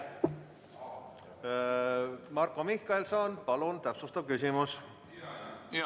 Marko Mihkelson, palun täpsustav küsimus!